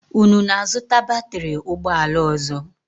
Unu na-azụta batịrị ụgbọala ọzọ?